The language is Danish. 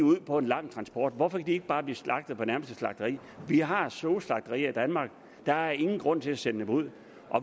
ud på en lang transport hvorfor kan de ikke bare blive slagtet på det nærmeste slagteri vi har soslagterier i danmark der er ingen grund til at sende dem ud